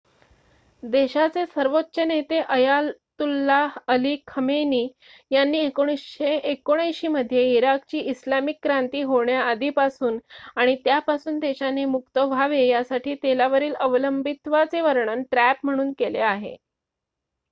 "देशाचे सर्वोच्च नेते अयातुल्ला अली खमेनी यांनी 1979 मध्ये इराणची इस्लामिक क्रांती होण्याआधीपासून आणि त्यापासून देशाने मुक्त व्हावे यासाठी तेलावरील अवलंबित्वाचे वर्णन "ट्रॅप" म्हणून केले आहे.